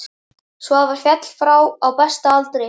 Svavar féll frá á besta aldri.